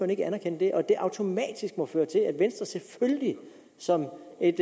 ikke anerkende det og at det automatisk må føre til at venstre selvfølgelig som et